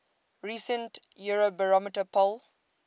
recent eurobarometer poll